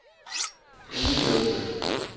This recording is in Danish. udelukkende